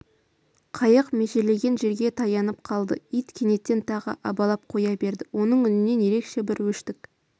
қайық межелеген жерге таянып қалды ит кенеттен тағы абалап қоя берді оның үнінен ерекше бір өштік